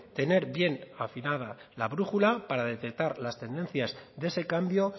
tener bien afinada la brújula para detectar las tendencias de ese cambio